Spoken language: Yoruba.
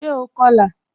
Ṣé ó kọ́lá?